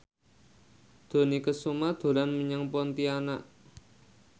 Dony Kesuma dolan menyang Pontianak